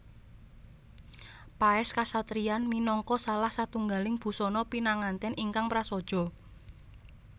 Paès Kasatriyan minangka salah satunggaling busana pinangantèn ingkang prasaja